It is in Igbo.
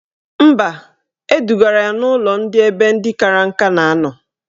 Mba, edugara ya n'ụlọ ebe ndị kara nka na anọ